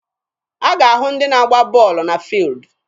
A ga-ahụ ndị na agba bọọlụ na fuildi.